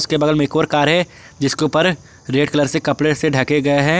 के बगल में एक और कार है जिसके ऊपर रेड कलर से कपड़े से ढके गए हैं।